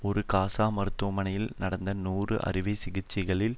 ஒரு காசா மருத்துவமனையில் நடந்த நூறு அறுவை சிகிச்சைகளில்